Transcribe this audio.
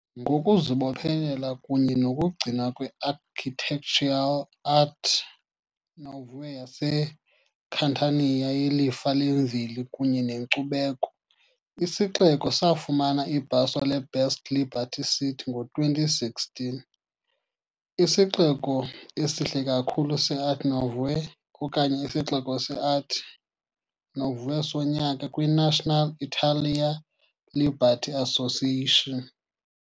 Ngokuzibophelela kunye nokugcinwa kwe-Architectural Art Nouveau yaseCatania yelifa lemveli kunye nenkcubeko, isixeko safumana ibhaso le- "Best LibertyCity" ngo-2016, "isixeko esihle kakhulu se-Art Nouveau " okanye "isixeko sase-Art Nouveau sonyaka", kwi-National Italia Liberty Association.